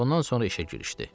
Ondan sonra işə girişdi.